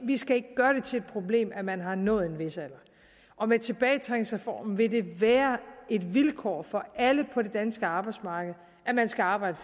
vi skal ikke gøre det til et problem at man har nået en vis alder og med tilbagetrækningsreformen vil det være et vilkår for alle på det danske arbejdsmarked at man skal arbejde